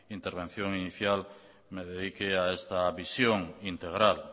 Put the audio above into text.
intervención inicial me dedique a esta visión integral